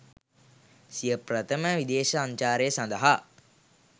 සිය ප්‍රථම විදේශ සංචාරය සඳහා